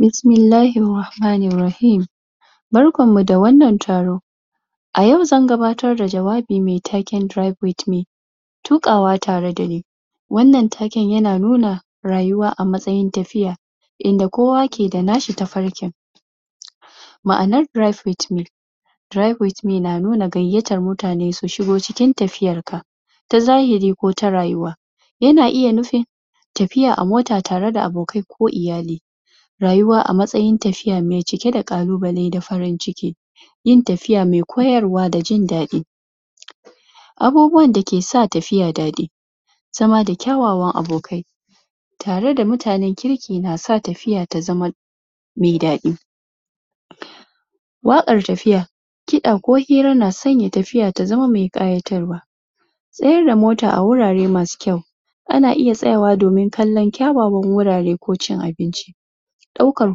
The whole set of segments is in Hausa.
Bismillahi Rahmanin Rahim barkanmu da wannan taro a yau zan gabbatar da jawabin me taken [drive with me] tukawa tare dani wannan taken yana nuna rayuwa a matsayin tafiya inda kowa nada nashi tafarkin ma'anar drive with me drive with me na nuna gayyatar mutane su shugo cikin tafiyar ka ta zahiri ko ta rayuwa yana iya nufin tafiya a mota tare da abokai ko iyali rayuwa a matsayin tafiya me cike da kalubale da farin ciki yin tafiya me koyarwa da jin daɗi abubuwan da ke sa tafiya daɗi zama da kyawawan abokai tare da mutanen kirki na sa tafiya ta zama me daɗi waƙar tafiya kiɗa ko hira na sanye tafiya ta zama kayyatarwa tsayar da mota a wurare masu kyau ana iya tsayawa domin kallon kyawawan wurare ko cin abinci ɗaukar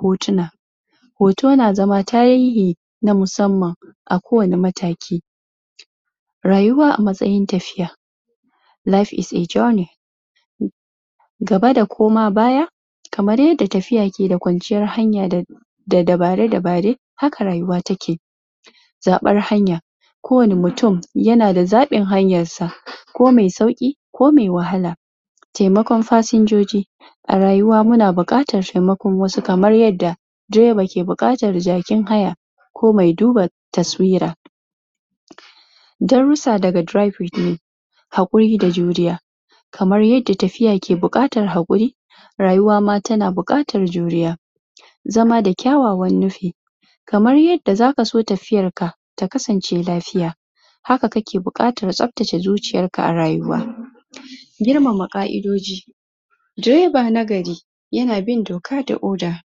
hotuna hoto na zama tarihi na musamman a ko wani mataki rayuwa a matsayin tafiya life is a journey gaba da kuma baya kamar yada tafiya ke da kwanciyar hanya da dabare-dabare haka rayuwa take zaɓar hanya kowani mutum yana da zaɓin hanyarsa ko me sauƙi ko me wahala taimakon fassanjoji a rayuwa muna buƙatar taimakon wasu kamar yada direba ke buƙatar jakin haya ko mai duba taswira darrusa daga [drive with me] haƙuri da juriya kamar yadda tafiya ke buƙatar haƙuri rayuwa ma tana buƙatar juriya zama da kyawawan nufi kamar yadda zaka so tafiyar ka ta kasance lafiya haka kake buƙatar tsaftace zuciyarka a rayuwa girmama ƙa'idoji direba na gari yana bin doka da oda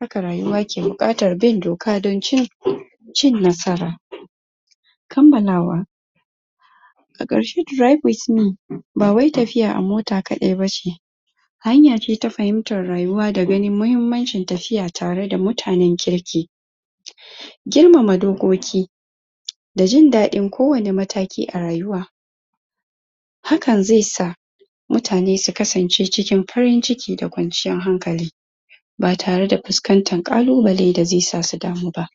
haka rayuwa ke buƙatan bin doka dan cin cin nasara kamalawa a karshe [drive with me] ba wai tafiya a mota kaɗai ba ce hanya ce ta fahimtar rayuwa da ganin muhimmancin tafiya tare da mutanen kirki giirmama dokkoki da jindadin kowani mataki a rayuwa hakan ze sa mutane su kasance cikin farin ciki da kwanciyan hankali ba tare da fuskantan kalubale da ze sa su damu ba.